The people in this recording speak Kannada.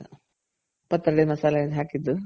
ಪಾತ್ರೆ ಒಡೆ ಮಸಲೇನೆ ಹಕಿದು